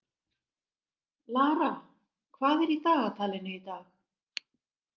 Lara, hvað er í dagatalinu í dag?